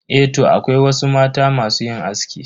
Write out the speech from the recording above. Eh toh, akwai wasu mata masu yin aski.